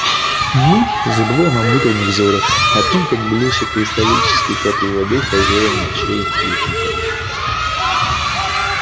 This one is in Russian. мы забываем об утренних зорях о том как блещет кристаллической каплей воды хозяин ночей юпитер